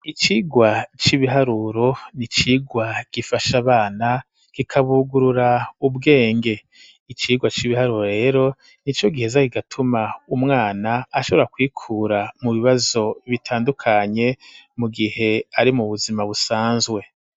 Icigwa c'ibiharuro n'icigwa gifasha abana kikabungurura ubwenge, icigwa c'ibiharuro rero ni co giheza kigatuma umwana ashobora kwikura mu bibazo bitandukanye mu gihe ari mu buzima busanzwe.